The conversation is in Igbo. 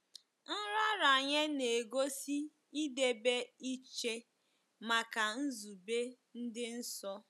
Nraranye na-egosi idebe iche maka nzube dị nsọ.